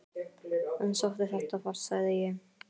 Hann sótti þetta fast sagði ég.